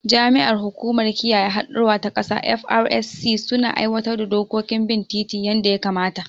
Jami’an hukumar kiyaye haɗɗura ta kasa (FRSC) suna aiwatar da dokokin bin titi yanda ya kamata